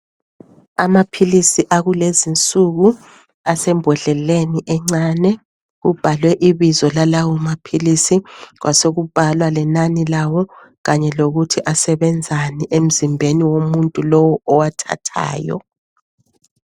Amaphilisi akulezi nsuku asembodleleni encane. Kubhalwe ibizo lalawo maphilisi kwasokubhalwa lenani lawo kanye lokuthi asebenzani emzimbeni womuntu lowo owathathayo.